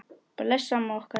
Bless amma okkar.